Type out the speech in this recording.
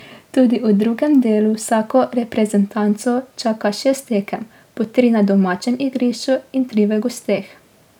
Tudi v drugem delu vsako reprezentanco čaka šest tekem, po tri na domačem igrišču in tri v gosteh.